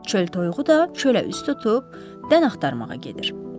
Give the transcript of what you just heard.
Çöl toyuğu da çölə üz tutub dən axtarmağa gedir.